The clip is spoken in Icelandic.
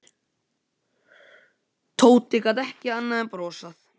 Tóti gat ekki annað en brosað.